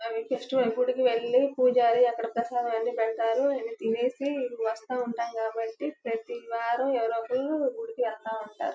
అవి ఫెస్టివల్ గుడికి వేలి పూజారి అక్కడ ప్రసాదాన్ని పెడతారు అది తినేసి వస్తా ఉంటాం కాబట్టి ప్రతి వారం ఎవరో ఒకళ్ళు గుడికి వెళ్తా ఉంటారు.